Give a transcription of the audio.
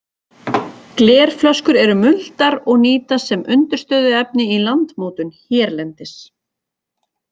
Glerflöskur eru muldar og nýtast sem undirstöðuefni í landmótun hérlendis.